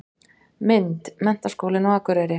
Mynd: Menntaskólinn á Akureyri.